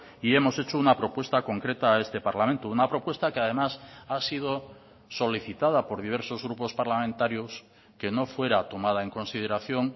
y hemos hecho una propuesta concreta a este parlamento una propuesta que además ha sido solicitada por diversos grupos parlamentarios que no fuera tomada en consideración